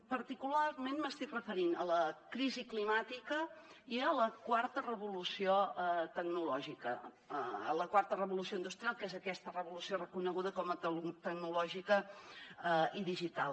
particularment m’estic referint a la crisi climàtica i a la quarta revolució tecnològica la quarta revolució industrial que és aquesta revolució reconeguda com a tecnològica i digital